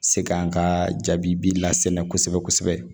Se ka an ka jaabi bi la sɛnɛ kosɛbɛ